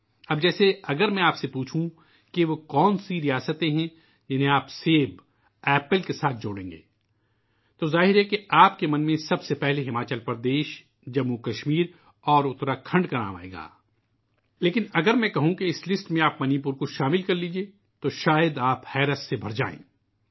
اب جیسے اگر میں آپ سے پوچھوں کہ وہ کون سی ریاستیں ہیں ، جن کو آپ سیب کے ساتھ جوڑیں گے؟ تو ظاہر ہے کہ ہماچل پردیش ، جموں و کشمیر اور اتراکھنڈ کا نام آپ کے ذہن میں سب سے پہلے آئے گا لیکن اگر میں یہ کہتا ہوں کہ آپ منی پور کو بھی اس فہرست میں جوڑ دیجئے تو شاید آپ کو بہت تعجب ہو گا